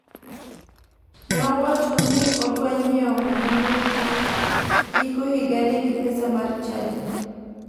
Ne owacho ni odwa nyiewo nyamburko giko higani gi pesa mar chadino.